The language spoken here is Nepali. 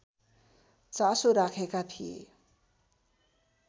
चासो राखेका थिए